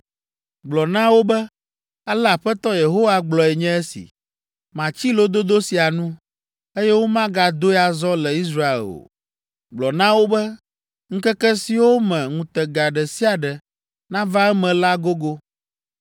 Gblɔ na wo be, ‘Ale Aƒetɔ Yehowa gblɔe nye esi: Matsi lododo sia nu, eye womagadoe azɔ le Israel o.’ Gblɔ na wo be, ‘Ŋkeke siwo me ŋutega ɖe sia ɖe nava eme la gogo.